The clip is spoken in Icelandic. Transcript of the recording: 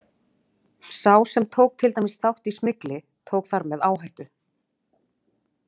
Sá sem tók til dæmis þátt í smygli, tók þar með áhættu.